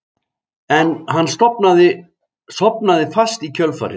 En hann sofnaði fast í kjölfarið